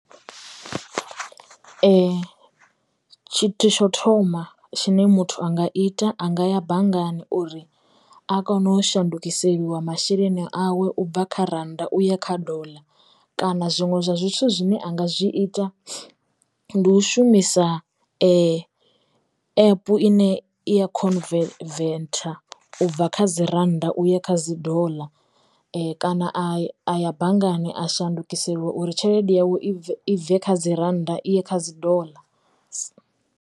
Tshithu tsho thoma tshine muthu anga ita anga ya banngani uri a kono u shandukiseliwa masheleni awe ubva kha rannda uya kha doḽa kana zwiṅwe zwithu zwine anga zwi ita ndi u shumisa epu ine ya khonu khonuvetha ubva kha dzi dzi rannda uya kha dzi doḽa, kana a aya banngani a shandukiseliwa uri tshelede yawe i bve kha dzi rannda iye kha dzi doḽa.